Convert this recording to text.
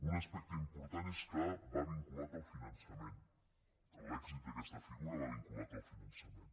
un aspecte important és que va vinculat al finançament l’èxit d’aquesta figura va vinculat al finançament